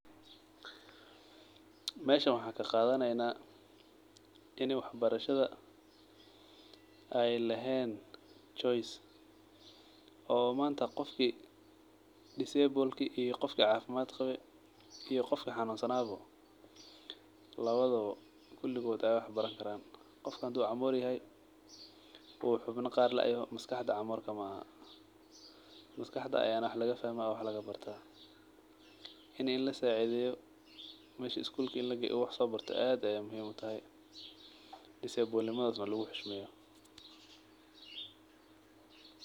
Meshan waxan ka qadaneyna ini wax barashaada ee lehen choice oo manta qofki disebolki qofki lugta qawe iyo qofki xanun sana bo lawdha kuligod ee wax baran karan qofka hadu camor yahay u xubna qar laayoho maskaxdeyda camor kama aha maskaxdeyda aya wax laga fahma ona laga barta ini lasacidheyo meshi isgulk ini lageyo u wax sobarto aad ayey muhiim u tahay disebolnimadisina waa lagu xoshmadeya.